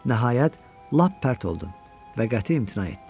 Nəhayət, lap pərt oldum və qəti imtina etdim.